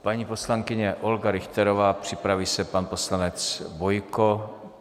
Paní poslankyně Olga Richterová, připraví se pan poslanec Bojko.